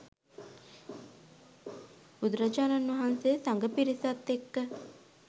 බුදුරජාණන් වහන්සේ සඟ පිරිසත් එක්ක